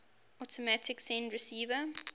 automatic send receive